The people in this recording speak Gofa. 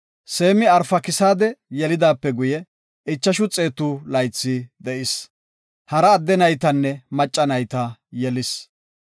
Seemi Arfakisaade yelidaape guye, ichashu xeetu laythi de7is. Hara adde naytanne macca nayta yelis.